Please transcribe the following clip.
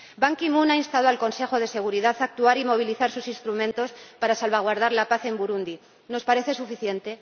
Ban Ki moon ha instado al Consejo de Seguridad a actuar y movilizar sus instrumentos para salvaguardar la paz en Burundi ¿nos parece suficiente?